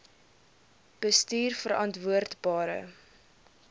bestuurverantwoordbare